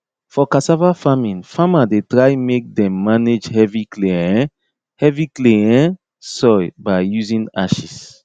for cassava farming farmer dey try make them manage heavy clay um heavy clay um soil by using ashes